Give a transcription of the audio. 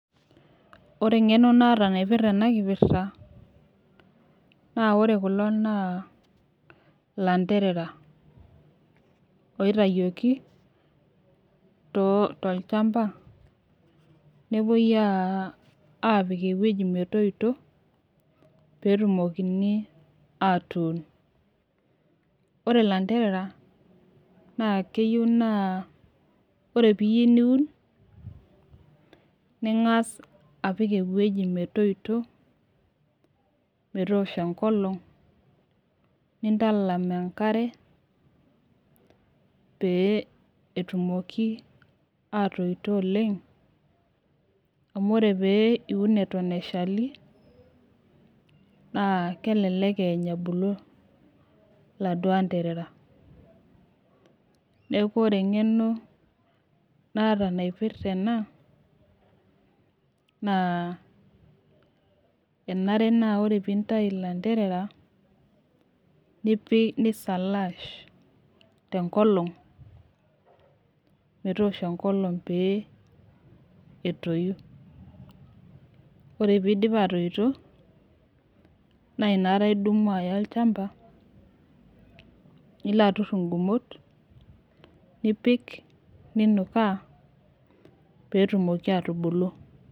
Ore kulo naa ilanterera oitayioki tochampa nepuoi aapik ewuji metoito peyie etumokini aatuun. Ore ilanterera naa keyieu naa ore peyie iyieu niun ningass apik ewueji metoito metoosho enkolong nintalam enkare peyie etumoki aatoito okeng amuu ore peyie iun eton eshali neidimayu niany ebulu. Niaku ore engeno naata naipirta ena naa nchere enare naa ore peyie intayu ilanterera nishaash metoosho enkolong peyie etoyu. Nilo atur inkumot tolchampa niun nebulu.